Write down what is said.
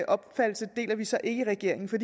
opfattelse deler vi så ikke i regeringen for